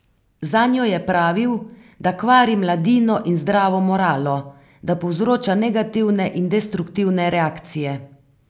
Zanjo je pravil, da kvari mladino in zdravo moralo, da povzroča negativne in destruktivne reakcije.